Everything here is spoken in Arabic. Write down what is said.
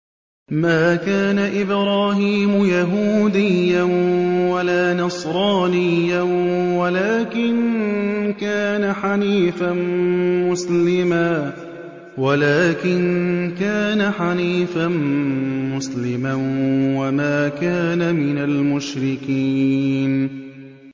مَا كَانَ إِبْرَاهِيمُ يَهُودِيًّا وَلَا نَصْرَانِيًّا وَلَٰكِن كَانَ حَنِيفًا مُّسْلِمًا وَمَا كَانَ مِنَ الْمُشْرِكِينَ